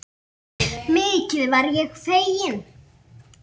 Mikið varð ég feginn.